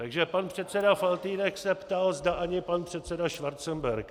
Takže pan předseda Faltýnek se ptal, zda ani pan předseda Schwarzenberg.